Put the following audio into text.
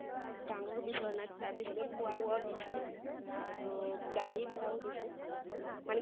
ডাঙৰ বিচৰা নাই তাৰ পিছত খোৱা বোৱা দিছে আৰু গাড়ী ভাড়াও দিছে মানে